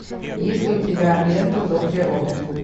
есть ли у тебя лента зов природы